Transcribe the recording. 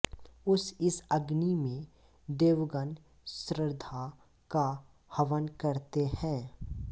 उस इस अग्नि में देवगण श्रद्धा का हवन करते हैं